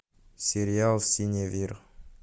сериал синевир